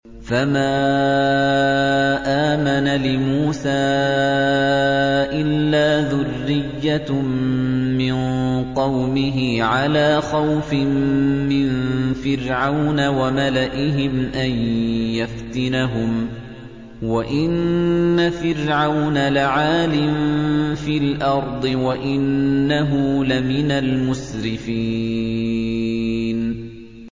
فَمَا آمَنَ لِمُوسَىٰ إِلَّا ذُرِّيَّةٌ مِّن قَوْمِهِ عَلَىٰ خَوْفٍ مِّن فِرْعَوْنَ وَمَلَئِهِمْ أَن يَفْتِنَهُمْ ۚ وَإِنَّ فِرْعَوْنَ لَعَالٍ فِي الْأَرْضِ وَإِنَّهُ لَمِنَ الْمُسْرِفِينَ